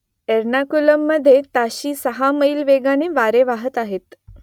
एर्नाकुलममध्ये ताशी सहा मैल वेगाने वारे वाहत आहेत